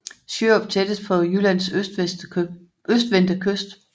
Sjørup tættest på Jyllands østvendte kyst